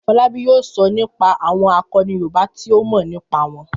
Fọlábí yóò sọ nípa àwọn àkọni Yorùbá tí ó mọ̀ nípa wọn.